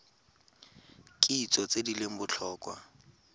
kitso tse di leng botlhokwa